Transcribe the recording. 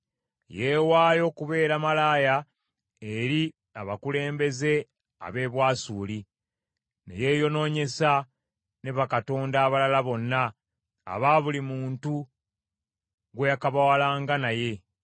Yeewaayo okubeera malaaya eri abakulembeze ab’e Bwasuli, ne yeeyonoonyesa ne bakatonda abalala bonna aba buli muntu gwe yakabawalanga naye.